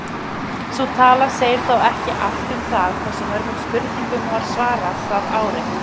Sú tala segir þó ekki allt um það hversu mörgum spurningum var svarað það árið.